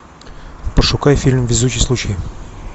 пошукай фильм везучий случай